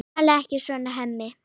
Talaðu ekki svona, Hemmi!